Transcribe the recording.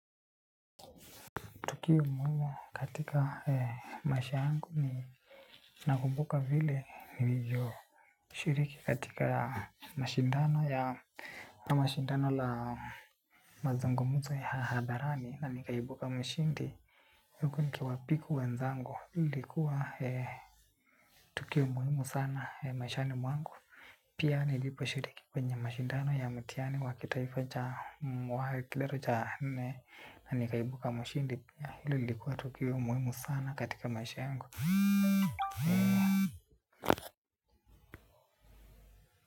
Tukio muhimu katika maisha yangu ni nakumbuka vile nilivyo shiriki katika mashindano ya mashindano la mazungumuzo ya hadharani na nikaibuka mshindi. Huko nikiwapiku wenzangu ilikuwa tukio muhimu sana maishani mwangu. Pia nilipo shiriki kwenye mashindano ya mtihani wakitaifa cha wakidato cha nne na nikaibuka mshindi ya hilo lilikuwa tukio muhimu sana katika maisha yangu.